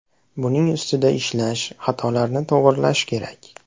Buning ustida ishlash, xatolarni to‘g‘rilash kerak.